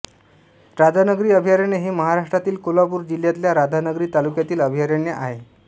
राधानगरी अभयारण्य हे महाराष्ट्रातील कोल्हापुर जिल्ह्यातल्या राधानगरी तालुक्यातील अभयारण्य आहे